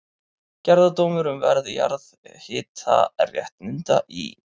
Gerðardómur um verð jarðhitaréttinda í